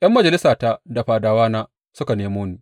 ’Yan majalisata da fadawana suka nemo ni.